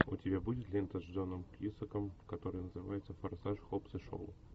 у тебя будет лента с джоном кьюсаком которая называется форсаж хоббс и шоу